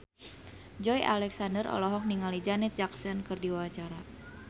Joey Alexander olohok ningali Janet Jackson keur diwawancara